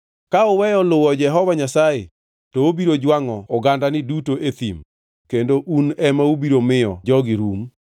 Ka uweyo luwo Jehova Nyasaye, to obiro jwangʼo ogandani duto e thim kendo un ema ubiro miyo jogi rum.”